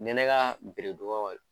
Ni ye ne ka bere